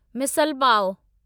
misal pav